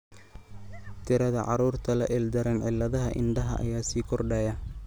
Tirada carruurta la ildaran cilladaha indhaha ayaa sii kordhaya.